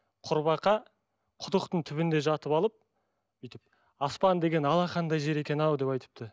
құрбақа құдықтың түбінде жатып алып бүйтіп аспан деген алақандай жер екен ау деп айтыпты